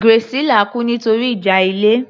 Graciela kú nítorí ìjà ilé